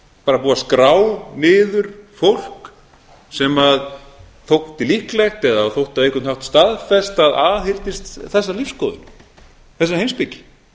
bara búið að skrá niður fólk sem þótti líklegt eða þótti á einhvern staðfest að aðhylltist þessa lífsskoðun þessa heimspeki